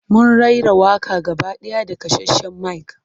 Mun raira waƙa gaba ɗaya da kasashen mic.